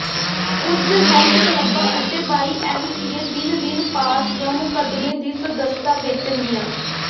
ਕੁਝ ਹੈਲਥ ਕਲੱਬਾਂ ਅਤੇ ਵਾਈਐਮਸੀਏ ਦਿਨ ਦਿਨ ਪਾਸ ਜਾਂ ਮੁਕੱਦਮੇ ਦੀ ਸਦੱਸਤਾ ਵੇਚਣਗੀਆਂ